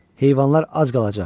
Heyvanlar az qalacaq.